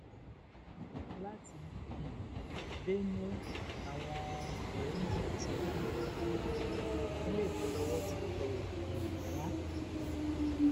láti um benue làwọn ọrẹ méjì yìí ti jí ọmọ gbé ìpínlẹ èkó lọwọ ti tẹ um wọn